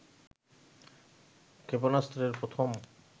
ক্ষেপণাস্ত্রের প্রথম